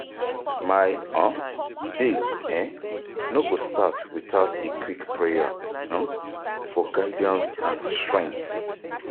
My um day um no go start without a quick prayer um for guidance and strength.